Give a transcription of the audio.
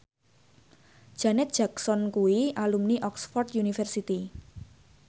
Janet Jackson kuwi alumni Oxford university